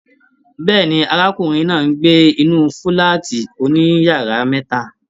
Bẹ́ẹ̀ni, arákùnrin náà n gbé inú fúlàátí òníyàrá mẹta.